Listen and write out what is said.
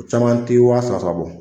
Caman tɛ wa saba saba bɔ.